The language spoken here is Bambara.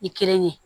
I kelen ye